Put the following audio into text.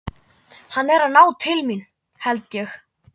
Hann er að ná til mín, held ég.